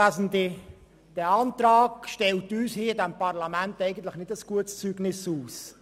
Dieser Antrag stellt uns in diesem Parlament eigentlich kein gutes Zeugnis aus.